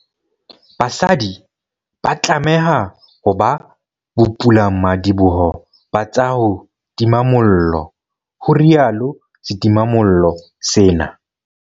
BASADI ba tlameha ho ba bopulamadiboho ba tsa ho tima mollo, ho rialo setimamollo sena.